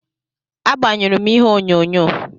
Agbanyụrụ m ihe onyonyo.